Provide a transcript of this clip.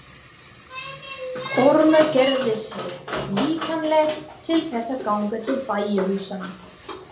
Ormur gerði sig líklegan til þess að ganga til bæjarhúsanna.